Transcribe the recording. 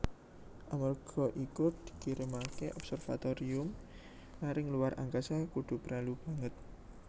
Amarga iku dikirimaké observatorium maring luar angkasa kudu prelu banget